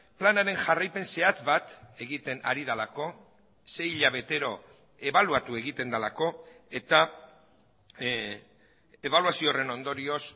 planaren jarraipen zehatz bat egiten ari delako sei hilabetero ebaluatu egiten delako eta ebaluazio horren ondorioz